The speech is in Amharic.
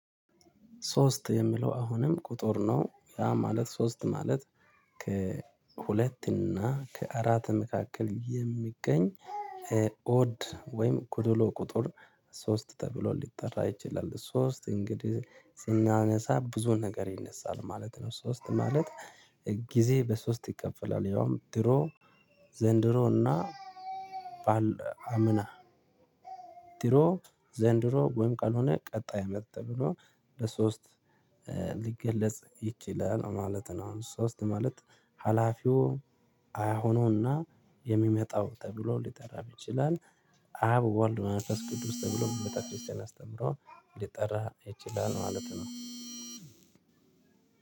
ሶስት የሚለው አሁንም ቁጥር ነው ያ ማለት ሶስት ማለት ከሁለት እና ከአራት መካከል የሚገኝ ኦድ ወይም ጎደሎ ቁጥር ሶስት ተብሎ ሊጠራ ይችላል። ሶስት እንግዲህ ስናነሳ ብዙ ነገር ይነሳል ማለት ነው። ሶስት ማለት ጊዜ በሶስት ይከፈላል ያውም ድሮ ዘንድሮ እና ባል አምና ድሮ ኦድ ወይም ጎዶሎ ቁጥር ሶስት ተብሎ ሊጠራ ይችላል። ሶስት እንግዲህ ስናነሳ ብዙ ነገር ይነሳል ማለት ነው። ሶስት ማለት ጊዜ በሶስት ይከፈላል ያውም ድሮ ዘንድሮ እና ባል አምና ድሮ "አብ፣ ወልድ፣ መንፈስ ቅዱስ" ተብሎ በቤተ ክርስትያን አስተምህሮ ሊጠራ ይችላል። ማለት ነው።